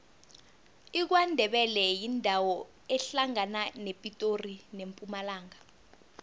ikwandebele yindawo ehlangana nepitori nempumalanga